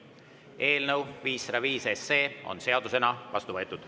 Eelnõu 505 on seadusena vastu võetud.